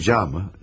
Rica mı?